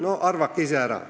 No arvake ise!